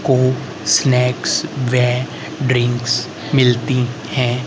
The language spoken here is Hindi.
कोक स्नैक्स वे ड्रिंक्स मिलती है।